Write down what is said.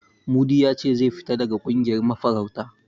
Mudi ya ce zai fita daga ƙungiyar mafarauta.